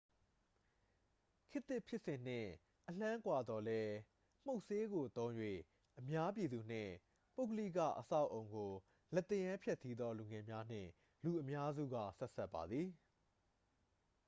ခေတ်သစ် ဖြစ်စဉ်နှင့် အလှမ်းကွာသော်လည်း မှုတ်ဆေးကို သုံး၍ အများပြည်သူနှင့် ပုဂ္ဂလိက အဆောက်အအုံကို လက်သရမ်းဖျက်ဆီးသော လူငယ်များနှင့် လူအများစုက ဆက်စပ်ပါသည်